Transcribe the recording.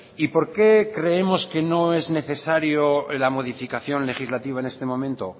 y por qué creemos que no es necesaria la modificación legislativa en este momento